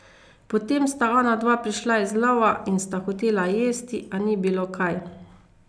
Potem sta onadva prišla z lova in sta hotela jesti, a ni bilo kaj.